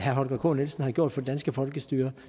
holger k nielsen har gjort for det danske folkestyre